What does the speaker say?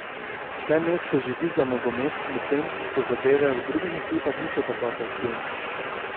Vse mesto živi za nogomet, medtem ko zadeve v drugih ekipah niso tako atraktivne.